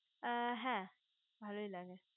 আ হে ভালোই লাগে